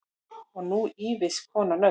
Og nú ýfist konan öll.